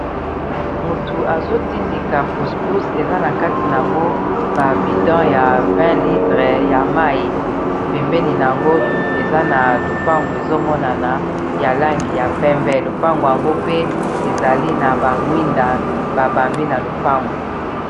Motu azotindika puspus eza na kati na yango ba bidon ya 20 lidre ya mai bembeni na yango eza na lopango ezomonana ya langi ya pembe, lopango yango pe ezali na bamwinda babambi na lopangu.